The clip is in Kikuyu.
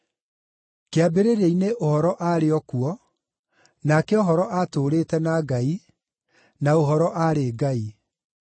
Kĩambĩrĩria-inĩ Ũhoro aarĩ o kuo, nake Ũhoro aatũũrĩte na Ngai, na Ũhoro aarĩ Ngai.